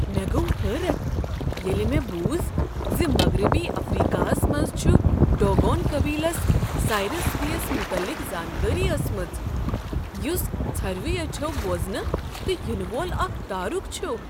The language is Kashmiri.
مےٚ گوٚو حٲرتھ ییٚلہ مےٚ بوٗز ز مغربی افریكا ہس منٛز چھ ڈوگون قبیلس سایریس بی یس متعلق زانٛکٲری ٲسمٕژ ، یٗس ژھرِوٕیہ اچھو بوزنہٕ نہٕ ینہٕ وول اكھ تارُکھ چھُ۔